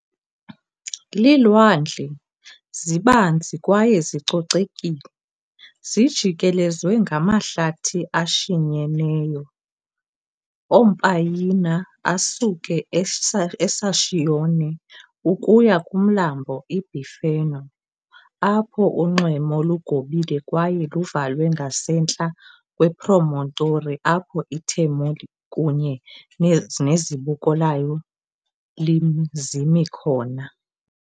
Iilwandle, zibanzi kwaye zicocekile, zijikelezwe ngamahlathi ashinyeneyo ompayina asuke eSaccione ukuya kumlambo iBiferno, apho unxweme lugobile kwaye luvalwe ngasentla kwepromontory apho iTermoli kunye nezibuko layo zimi khona.